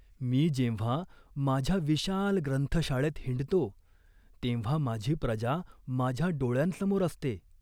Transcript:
मी जेव्हा माझ्या विशाल ग्रंथशाळेत हिंडतो, तेव्हा माझी प्रजा माझ्या डोळ्यांसमोर असते.